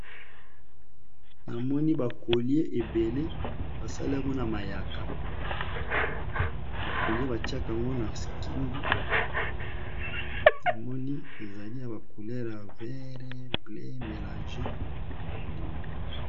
Namoni bakolie ebele basali yango na mayaka bakolie batiaka yango na kingo namoni ezali ya bacoulere ya vere ble melange.